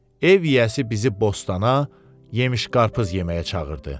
Ev yiyəsi bizi bostana, yemiş-qarpız yeməyə çağırdı.